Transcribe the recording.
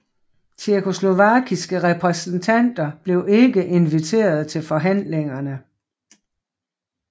Tjekkoslovakiske repræsentanter blev ikke inviteret til forhandlingerne